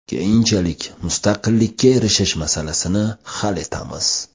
Keyinchalik mustaqillikka erishish masalasini hal etamiz.